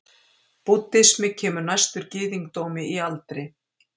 búddismi kemur næstur gyðingdómi í aldri